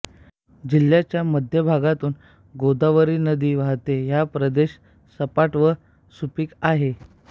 जिल्ह्याच्या मध्य भागातून गोदावरी नदी वाहते हा प्रदेश सपाट व सुपीक आहे